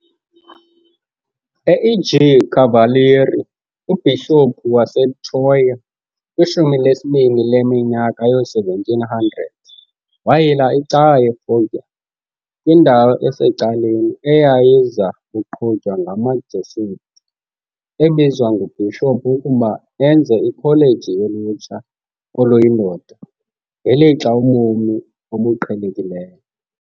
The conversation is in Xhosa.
U-EG Cavalieri, uBhishophu waseTroia kwishumi lesibini leminyaka yoo-1700 wayila icawa yeFoggia, kwindawo esecaleni, eyayiza kuqhutywa ngamaJesuit, ebizwa nguBhishophu ukuba enze ikholeji yolutsha oluyindoda, ngelixa ubomi obuqhelekileyo.